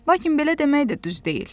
Lakin belə demək də düz deyil.